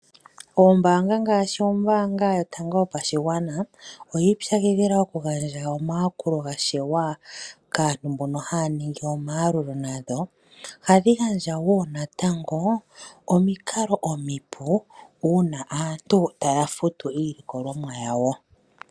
Oombaanga ngaashi ombaanga yotango yopashigwana oyi ipyakidhila okugandja omayakulo gashewa kaantu mbono haya ningi omayalulo gadho. Ohadhi gandja wo natango omikalo omipu uuna aantu taya futu iilikolomwa yawo.